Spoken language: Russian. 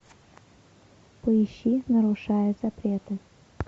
поищи нарушая запреты